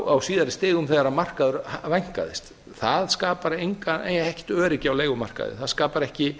á síðari stigum þegar markaður vænkaðist það skapar ekkert öryggi á leigumarkaði það skapar ekki